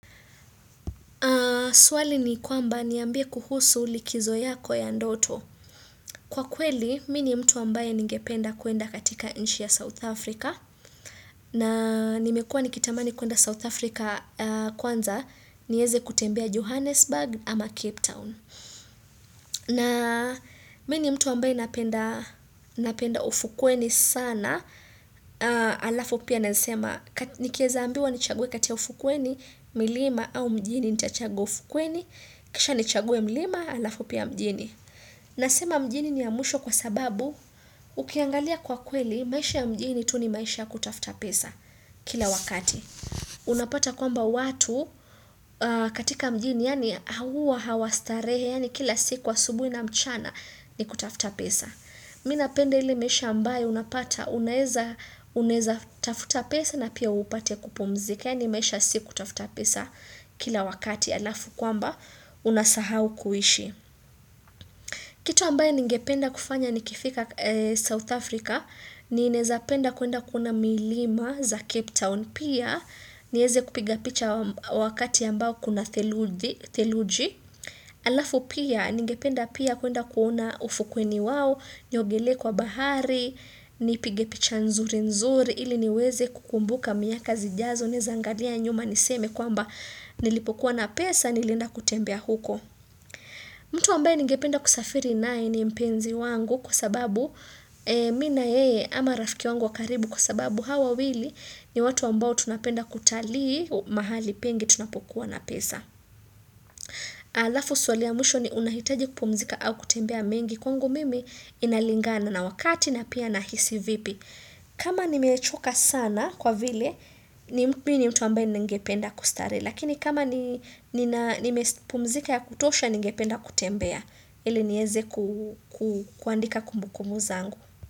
Swali ni kwamba niambie kuhusu likizo yako ya ndoto. Kwa kweli, Mimi ni mtu ambaye ningependa kwenda katika nchi ya South Africa na nimekua nikitamani kwenda South Africa kwanza, niweze kutembea Johannesburg ama Cape Town. Na mimi ni mtu ambaye napenda ufukweni sana, halafu pia nasema nikiweza kuambiwa nichague kati ya ufukweni, milima au mjini nitachagua ufukweni kisha nichague milima halafu pia mjini. Nasema mjini ni ya mwisho kwa sababu, ukiangalia kwa kweli maisha ya mjini tu ni maisha ya kutafuta pesa kila wakati. Unapata kwamba watu katika mjini yaani huwa hawastarehe yaani kila siku asubuhi na mchana ni kutafuta pesa Mimi ninapenda ile maisha ambayo unapata unaweza tafuta pesa na pia upate kupumzika, yaani maisha si kutafuta pesa kila wakati halafu kwamba unasahau kuishi Kitu ambayo ningependa kufanya nikifika South Africa, ninaweza penda kwenda kuona milima za Cape Town Pia, nieze kupiga picha wakati ambao kuna theluji Halafu pia, nigependa pia kwenda kuona ufukweni wao niogelee kwa bahari, nipige picha nzuri nzuri ili niweze kukumbuka miaka zijazo ninaweza angalia nyuma niseme kwamba nilipokuwa na pesa nilienda kutembea huko mtu ambaye nigependa kusafiri nae ni mpenzi wangu Kwa sababu, mimi na yeye ama rafiki wangu wa karibu kwa sababu hawa wawili ni watu ambao tunapenda kutalii mahali pengi tunapokuwa na pesa. Halafu swali ya mwisho, ni unahitaji kupumzika au kutembea mengi kwangu mimi inalingana na wakati na pia nahisi vipi. Kama nimechoka sana kwa vile mimi ni mtu ambaye ningependa kustarehe. Lakini kama nimepumzika ya kutosha, ningependa kutembea. Ili niweze kuandika kumbukumbu zangu.